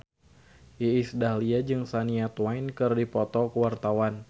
Iis Dahlia jeung Shania Twain keur dipoto ku wartawan